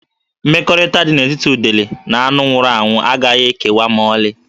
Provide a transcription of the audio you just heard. Mmekọrịta dị n'etiti udele na anụ nwụrụ anwụ agaghị ekewa ma ọlị